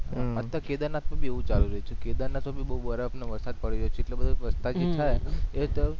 અત્યાર તો કેદારનાથ મા ભી એવુ ચાલી રહ્યો છે કેદારનાથ મા ભી બહુ બરફ઼ અને વરસાદ પડી રહ્યો છે એટલો બધુ પ્રસ્થાપીત થાય